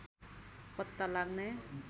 पत्ता लाग्ने